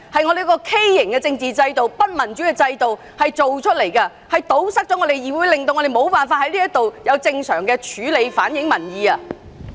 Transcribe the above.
我們畸形的政治制度、不民主的制度，令議會反映民意的渠道被堵塞，民意無法在議會得到正常處理。